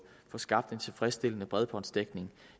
skabt en tilfredsstillende bredbåndsdækning